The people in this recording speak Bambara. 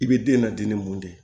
I bɛ den nadi ni mun de ye